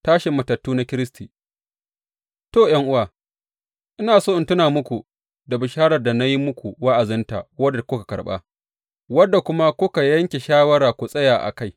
Tashin matattu na Kiristi To, ’yan’uwa, ina so in tuna muku da bisharar da na yi muku wa’azinta, wadda kuka karɓa, wadda kuma kuka yanke shawara ku tsaya a kai.